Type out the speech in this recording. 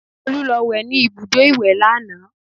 Olú lọ wẹ̀ ní ibùdó ìwẹ̀ lánàá